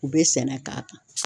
U bɛ sɛnɛ k'a kan.